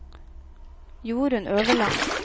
Jorunn Øverland